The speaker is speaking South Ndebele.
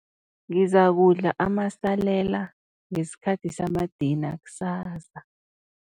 Ngizakudla amasalela ngesikhathi samadina kusasa.